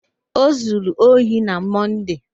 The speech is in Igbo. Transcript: O zuru ohi na Mọnde.